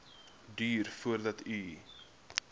duur voordat u